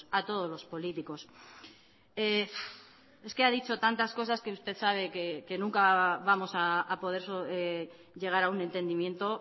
a todos los políticos es que ha dicho tantas cosas que usted sabe que nunca vamos a poder llegar a un entendimiento